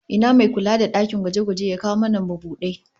Ina me kula da dakin gwaje-gwaje ya kawo mana mabudai?